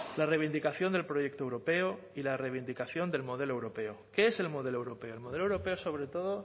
la reivindicación del proyecto europeo y la reivindicación del modelo europeo qué es el modelo europeo el modelo europeo sobre todo